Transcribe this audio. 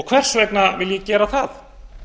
hvers vegna vil ég gera það